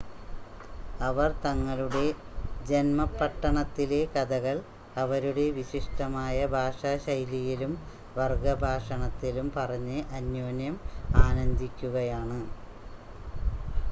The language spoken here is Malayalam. അവർ തങ്ങളുടെ ജൻമപട്ടണത്തിലെ കഥകൾ അവരുടെ വിശിഷ്ടമായ ഭാഷാശൈലിയിലും വർഗ്ഗഭാഷണത്തിലും പറഞ്ഞ് അന്യോന്യം ആനന്ദിക്കുകയാണ്